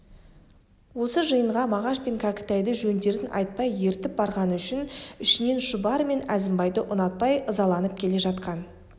осы жиынға мағаш пен кәкітайды жөндерін айтпай ертіп барғаны үшін ішінен шұбар мен әзімбайды ұнатпай ызаланып келе жатқан